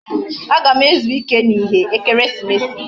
Agam ezu ike na ihe ekeresimesi